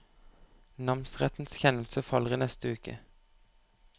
Namsrettens kjennelse faller i neste uke.